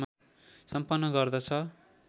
सम्पन्न गर्दछ